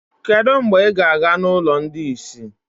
Kedu mgbe ị ga-aga n'ụlọ ndị ìsì?